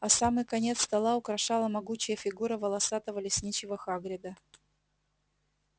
а самый конец стола украшала могучая фигура волосатого лесничего хагрида